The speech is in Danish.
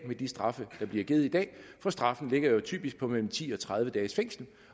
med de straffe der bliver givet i dag for straffen ligger jo typisk på mellem ti og tredive dages fængsel